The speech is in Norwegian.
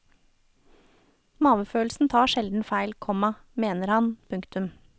Mavefølelsen tar sjelden feil, komma mener han. punktum